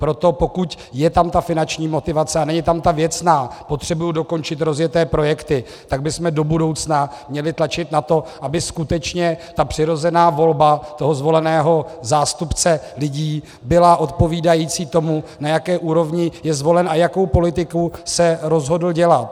Proto pokud je tam ta finanční motivace a není tam ta věcná - potřebuji dokončit rozjeté projekty - tak bychom do budoucna měli tlačit na to, aby skutečně ta přirozená volba toho zvoleného zástupce lidí byla odpovídající tomu, na jaké úrovni je zvolen a jakou politiku se rozhodl dělat.